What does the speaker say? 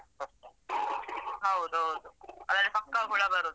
ಹೌದೌದು ಅದ್ರಲ್ಲಿ ಪಕ್ಕ ಹುಳ ಬರುದು.